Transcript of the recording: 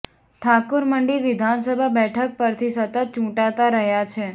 ઠાકુર મંડી વિધાનસભા બેઠક પરથી સતત ચૂંટાતા રહ્યા છે